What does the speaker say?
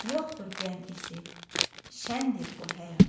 Yoxdur qəm izi, şəndir bu həyat.